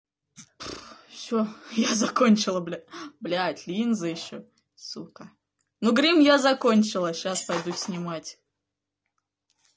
все я закончила бля бля линзы ещё сука ну грим я закончила сейчас пойду снимать